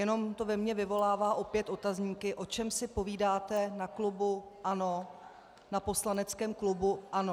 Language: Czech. Jenom to ve mně vyvolává opět otazníky, o čem si povídáte na klubu ANO, na poslaneckém klubu ANO.